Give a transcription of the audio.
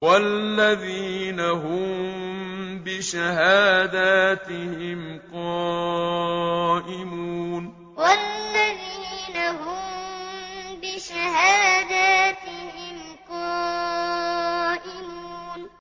وَالَّذِينَ هُم بِشَهَادَاتِهِمْ قَائِمُونَ وَالَّذِينَ هُم بِشَهَادَاتِهِمْ قَائِمُونَ